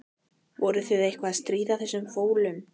Voruð þið eitthvað að stríða þessum fólum?